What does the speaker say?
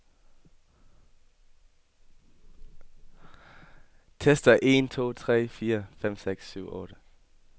Tester en to tre fire fem seks syv otte.